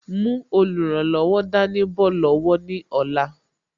Mú olùrànlọ́wọ̀ dání bọ̀ lọ́wọ́ ní ọ̀la